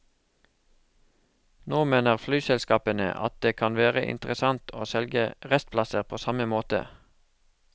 Nå mener flyselskapene at det kan være interessant å selge restplasser på samme måte.